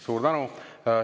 Suur tänu!